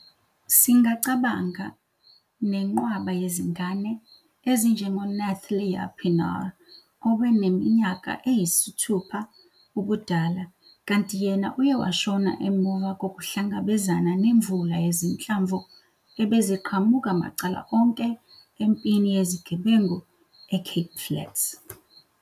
Singacabanga nenqwaba yezingane, ezinjengo-Nathlia Pienaar obene minyaka engu-6 ubudala, kanti yena uye washona emuva kokuhlangabezana nemvula yezinhlamvu ebeziqhamuka macala onke empini yezigebengu eCape Flats.